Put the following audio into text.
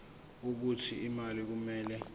wokuthi imali kumele